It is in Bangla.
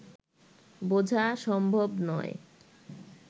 বোঝা সম্ভব নয়